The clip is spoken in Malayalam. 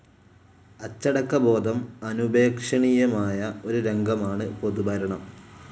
അച്ചടക്കബോധം അനുപേക്ഷണീയമായ ഒരു രംഗമാണ് പൊതുഭരണം.